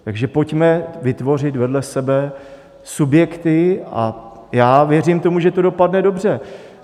Takže pojďme vytvořit vedle sebe subjekty a já věřím tomu, že to dopadne dobře.